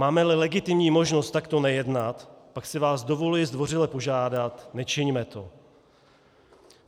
Máme-li legitimní možnost takto nejednat, pak si vás dovoluji zdvořile požádat: Nečiňme to!